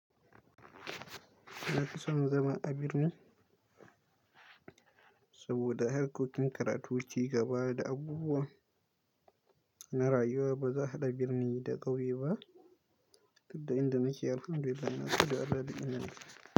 Na fi son zama a birni saboda harkokin karatu ci gaba da abubuwan na rayuwa ba za a haɗa birni da ƙauye ba, duk da inda muke yi alfarma da yana kusa da arzikin mu.